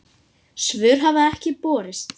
Svör hafa ekki borist.